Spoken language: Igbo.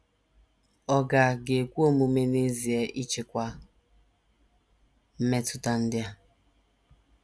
Ọ̀ ga ga - ekwe omume n’ezie ịchịkwa mmetụta ndị a?